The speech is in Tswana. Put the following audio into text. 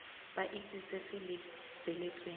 ba itse se se lebeletsweng